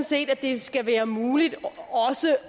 set at det skal være muligt